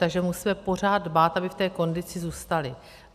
Takže musíme pořád dbát, aby v té kondici zůstaly.